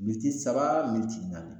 saba naani